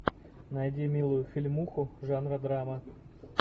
найди милую фильмуху жанра драма